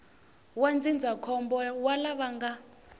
wa ndzindzakhombo wa lava nga